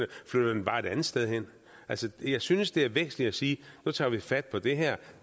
flytter den bare et andet sted hen altså jeg synes det er væsentligt at sige at nu tager vi fat på det her